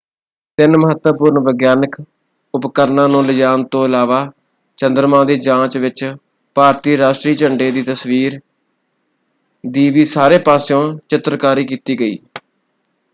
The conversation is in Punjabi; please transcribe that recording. ਤਿੰਨ ਮਹੱਤਵਪੂਰਣ ਵਿਗਿਆਨਕ ਉਪਰਕਰਣਾਂ ਨੂੰ ਲਿਜਾਣ ਤੋਂ ਇਲਾਵਾ ਚੰਦਰਮਾ ਦੀ ਜਾਂਚ ਵਿੱਚ ਭਾਰਤੀ ਰਾਸ਼ਟਰੀ ਝੰਡੇ ਦੀ ਤਸਵੀਰ ਦੀ ਵੀ ਸਾਰੇ ਪਾਸਿਓਂ ਚਿੱਤਰਕਾਰੀ ਕੀਤੀ ਗਈ।